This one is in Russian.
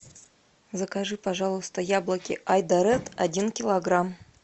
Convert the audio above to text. закажи пожалуйста яблоки айдаред один килограмм